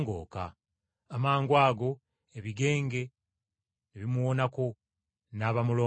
Amangwago ebigenge ne bimuwonako, n’aba mulongoofu.